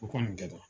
O kɔni kɛtɔ